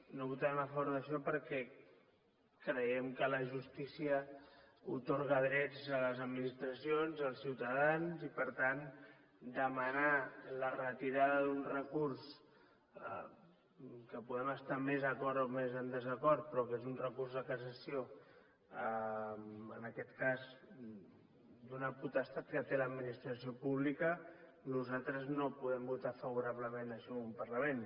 no votarem a favor d’això perquè creiem que la justícia atorga drets a les administracions als ciutadans i per tant demanar la retirada d’un recurs que hi podem estar més d’acord o més en desacord però que és un recurs de cassació en aquest cas d’una potestat que té l’administració pública nosaltres no podem votar favorablement això en un parlament